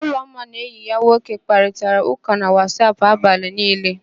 Ụlọma na enyi ya nwoke kparịtara ụ́kà na Wasap abalị niile.